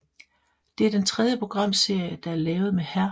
Det er den tredje programserie der er lavet med Hr